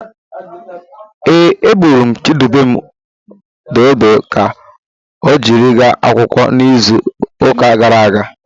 Ee, eghere m Chidubem dodo ka ọ jiri gaa akwụkwọ n'izuụka gara aga.